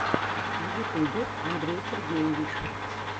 в ютьюбе андрей сергеевич